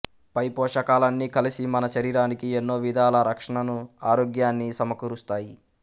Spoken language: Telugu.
పై పోషకాలన్నీ కలిసి మన శరీరానికి ఎన్నో విధాల రక్షణను ఆరోగ్యాన్నీ సమకూరుస్తాయి